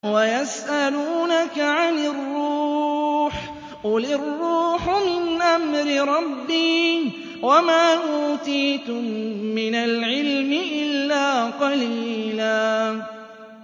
وَيَسْأَلُونَكَ عَنِ الرُّوحِ ۖ قُلِ الرُّوحُ مِنْ أَمْرِ رَبِّي وَمَا أُوتِيتُم مِّنَ الْعِلْمِ إِلَّا قَلِيلًا